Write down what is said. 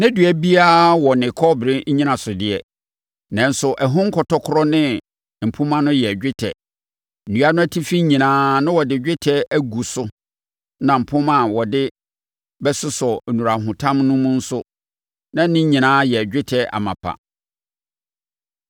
Na dua biara wɔ ne kɔbere nnyinasodeɛ, nanso ɛho nkɔtɔkorɔ ne mpomma no yɛ dwetɛ; nnua no atifi nyinaa na wɔde dwetɛ agu so na mpomma a wɔde bɛsosɔ nnurahotam no mu no nso, na ne nyinaa yɛ dwetɛ amapa.